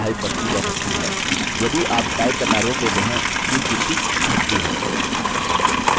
जैसे ही आप type करते हैं संख्या आपके type करने की गति पर आधारित बढ़ती या घटती है